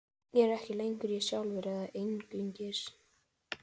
Ég er ekki lengur ég sjálfur, eða ekki einungis.